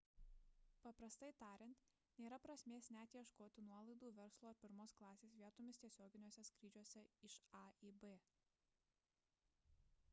paprastai tariant nėra prasmės net ieškoti nuolaidų verslo ar pirmos klasės vietoms tiesioginiuose skrydžiuose iš a į b